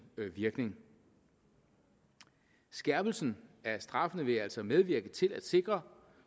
virkning skærpelsen af straffene vil altså medvirke til at sikre